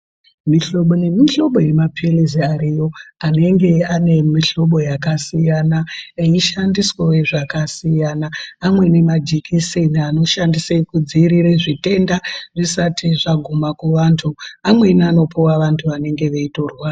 Mihlobo ngemihlobo yemaphirizi Ariyo anenge ane mihlobo yakasiyana eishandiswawo zvakasiyana , amweni majekiseni anoshande kudziirire zvitenda zvisati zvaguma kuvantu amweni anupuwa vantu vanenge veitorwara.